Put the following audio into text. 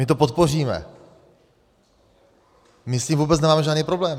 My to podpoříme, my s tím vůbec nemáme žádný problém.